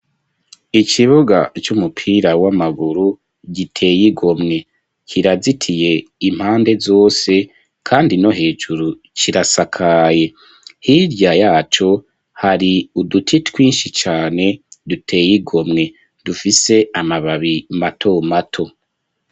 Ikibuga c'umupira w'amaguru giteye igomwe kirazitiye impande zose kandi no hejuru kirasakaye hirya yaco hari uduti twinshi cane duteye igomwe dufise amababi mato mato.